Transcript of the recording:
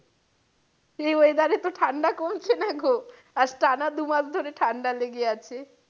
এই weather এ তো ঠাণ্ডা কমছে না গো। আজ টানা দু মাস ধরে ঠাণ্ডা লেগে আছে।